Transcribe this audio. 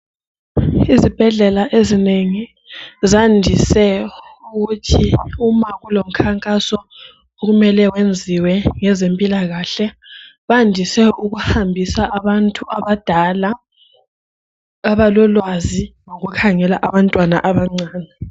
Izibhedlela ezinengi zandise ukuthi uma kulomikhankaso okumele wenziwe ngezempilakahle andise ukuhambise abantu abalala abalolwazi ngokukhangela abantwana abancane.